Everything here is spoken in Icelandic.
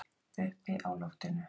Uppi á loftinu.